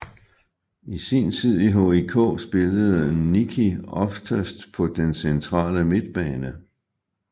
I sin tid i HIK spillede Nicki oftest på den centrale midtbane